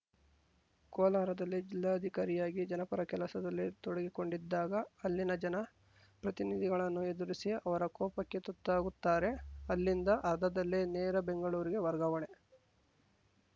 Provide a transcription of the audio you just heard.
ಕೋಲಾರದಲ್ಲಿ ಜಿಲ್ಲಾಧಿಕಾರಿಯಾಗಿ ಜನಪರ ಕೆಲಸದಲ್ಲಿ ತೊಡಗಿಕೊಂಡಿದ್ದಾಗ ಅಲ್ಲಿನ ಜನ ಪ್ರತಿನಿಧಿಗಳನ್ನು ಎದುರಿಸಿ ಅವರ ಕೋಪಕ್ಕೆ ತುತ್ತಾಗುತ್ತಾರೆ ಅಲ್ಲಿಂದ ಅರ್ಧದಲ್ಲೇ ನೇರ ಬೆಂಗಳೂರಿಗೆ ವರ್ಗಾವಣೆ